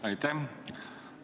Aitäh!